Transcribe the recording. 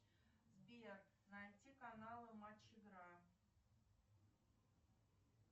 сбер найти каналы матч игра